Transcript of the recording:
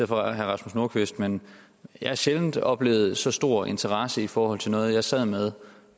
for herre rasmus nordqvist men jeg har sjældent oplevet så stor interesse i forhold til noget jeg sad med